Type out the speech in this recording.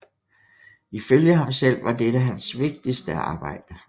Ifølge ham selv var dette hans vigtigste arbejde